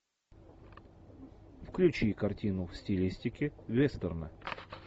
включи картину в стилистике вестерна